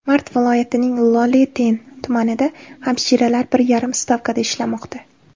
Mari viloyatining Ioleten tumanida hamshiralar bir yarim stavkada ishlamoqda.